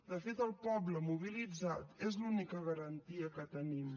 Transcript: de fet el poble mobilitzat és l’única garantia que tenim